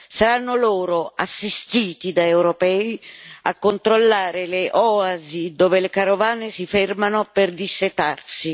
Saranno loro, assistiti da europei, a controllare le oasi dove le carovane si fermano per dissetarsi.